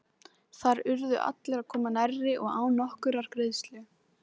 Þar urðu allir að koma nærri og án nokkurrar greiðslu.